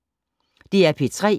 DR P3